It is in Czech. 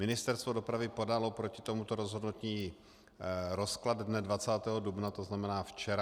Ministerstvo dopravy podalo proti tomuto rozhodnutí rozklad dne 20. dubna, to znamená včera.